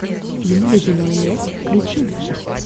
фильм ледяной лес включи мне